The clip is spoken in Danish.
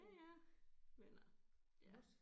Ja ja men øh ja